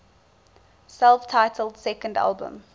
self titled second album